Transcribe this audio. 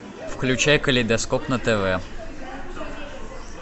включай калейдоскоп на тв